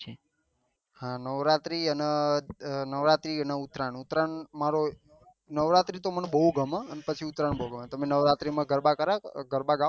હા નવરાત્રી અને નવરાત્રી અને ઉત્તરાયણ ઉત્તરાયણ મારો નવરાત્રી તો મને બહુ ગમે પછી ઉત્તરાયણ તમે નવરાત્રી માં ગરબા કર્યા ગરબા ગાવ કભી